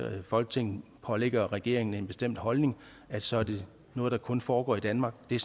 folketinget pålægger regeringen en bestemt holdning så er noget der kun foregår i danmark det er